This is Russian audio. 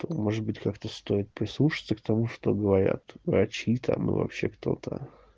то может быть как-то стоит прислушаться к тому что говорят врачи там и вообще кто-то